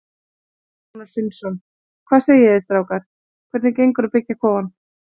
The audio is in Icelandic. Þorgeir Rúnar Finnsson: Hvað segið þið strákar, hvernig gengur að byggja kofann?